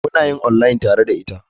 Mun yi online tare da ita.